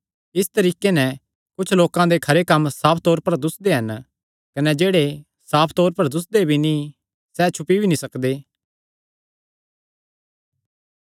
इसी तरीके नैं कुच्छ लोकां दे खरे कम्म साफ तौर पर दुस्सदे हन कने जेह्ड़े साफ तौर पर दुस्सदे भी नीं सैह़ छुपी नीं सकदे